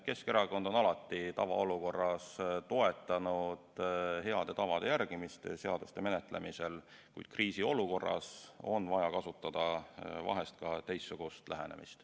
Keskerakond on alati tavaolukorras toetanud seaduste menetlemisel heade tavade järgimist, kuid kriisiolukorras on vaja kasutada vahel ka teistsugust lähenemist.